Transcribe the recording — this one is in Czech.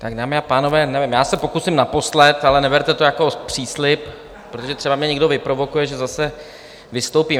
Tak, dámy a pánové, nevím, já se pokusím naposled, ale neberte to jako příslib, protože třeba mě někdo vyprovokuje, že zase vystoupím.